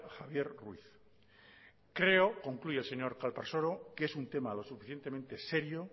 javier ruiz creo concluye el señor calparsoro que es un tema lo suficientemente serio